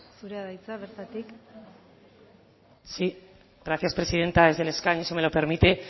zurea da hitza bertatik sí gracias presidenta desde el escaño si me lo permite